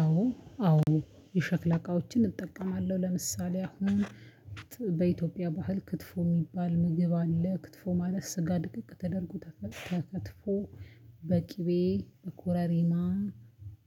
አዎ አዎ የሸክላ እቃዎችን እጠቀማለሁ። ለምሳሌ አሁን በኢትዮጵያ ባህል ክትፎ የሚባል ምግብ አለ ክትፎ ማለት ስጋ ድቅቅ ተደርጎ ተከትፎ በቅቤ ኮረሪማ